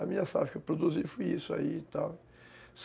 A minha safra que eu produzi foi isso aí e tal.